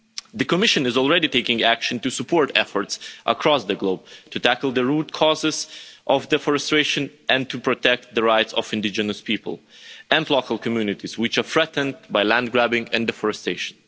The Commission is already taking action to support efforts across the globe to tackle the root causes of deforestation and to protect the rights of indigenous people and local communities, which are threatened by land grabbing and deforestation.